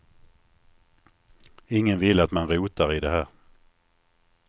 Ingen vill att man rotar i det här.